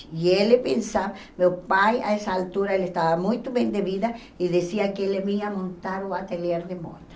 E ele pensava, meu pai, a essa altura, ele estava muito bem de vida, e dizia que ele ia montar o ateliê de moda.